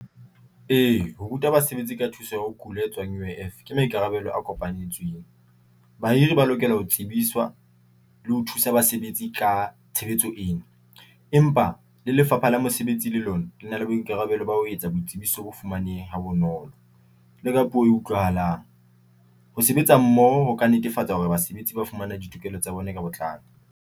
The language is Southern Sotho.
E, ho ruta basebetsi ka thuso ya ho kula e tswang U_I_F ke maikarabelo a kopanetswang. Bahiri ba lokela ho tsebiswa le ho thusa basebetsi ka tshebetso ena, empa le Lefapha la Mosebetsi le lona lena le boikarabelo ba ho etsa boitsebiso bo fumanehe ha bonolo le ka puo e utlwahalang. Ho sebetsa mmoho ho ka netefatsa hore basebetsi ba fumana ditokelo tsa bona ka botlalo.